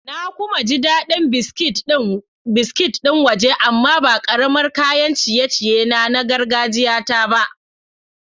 Na kuma ji daɗin biskit ɗin waje amma ba kamar kayan ciye-ciye na na gargajiyata ba.